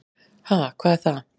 """Ha, hvað er það?"""